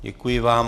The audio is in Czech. Děkuji vám.